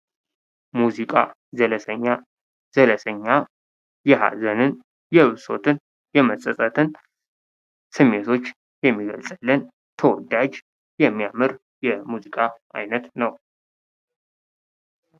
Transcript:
ሙዚቃ ዘለሰኛ ዘለሰኛ የሀዘንን፣ የብሶትን ፣ የመጸጸትን ስሜቶች የሚገልጽልን ተወዳጅ የሚያምር የሙዚቃ ዓይነት ነው።